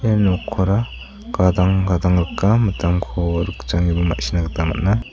ia nokkora gadang gadang rika mitamko rikja ineba ma·sina gita man·a.